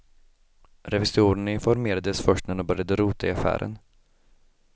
Revisorerna informerades först när de började rota i affären.